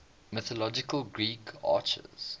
mythological greek archers